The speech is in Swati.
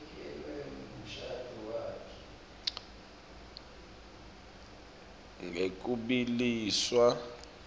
ngekubiliswa